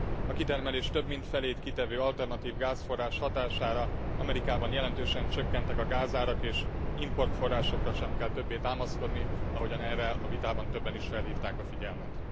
A kitermelés több mint felét kitevő alternatív gázforrás hatására Amerikában jelentősen csökkentek a gázárak, és import forrásokra sem kell többé támaszkodni, ahogyan erre a vitában többen is felhívták a figyelmet.